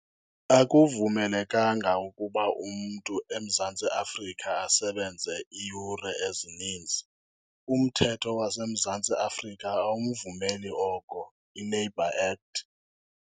Akuvemelekanga ukuba umntu eMzantsi Afrika asebenze iiyure ezininzi, umthetho waseMzantsi Afrika awumvumeli oko, i-Labour Act.